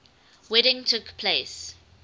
wedding took place